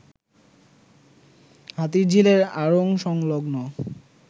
হাতিরঝিলের আড়ং সংলগ্ন